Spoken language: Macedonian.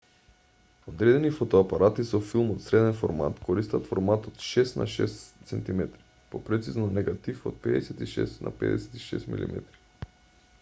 одредени фотоапарати со филм од среден формат користат формат од 6 на 6 cm попрецизно негатив од 56 на 56 mm